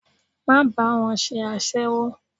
Má bá wọn ṣe aséwó!